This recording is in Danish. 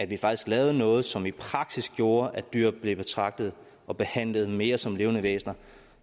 vi faktisk lavede noget som i praksis gjorde at dyr blev betragtet og behandlet mere som levende væsner